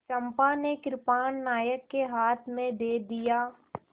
चंपा ने कृपाण नायक के हाथ में दे दिया